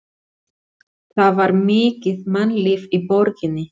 Það var mikið mannlíf í borginni.